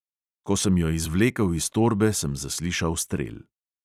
Ko sem jo izvlekel iz torbe, sem zaslišal strel.